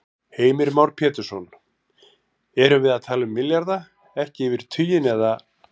Heimir Már Pétursson: Erum við að tala milljarða, ekki yfir tuginn, eða?